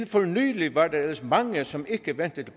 for nylig var der ellers mange som ikke vendte